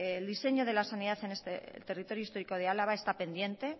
el diseño de la sanidad en este territorio histórico de álava está pendiente